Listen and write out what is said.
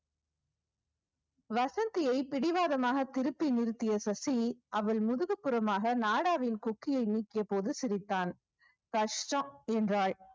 வசந்தியை பிடிவாதமாக திருப்பி நிறுத்திய சசி அவள் முதுகுப்புறமாக நாடாவின் கொக்கியை நீக்கிய போது சிரித்தான் கஷ்டம் என்றாள்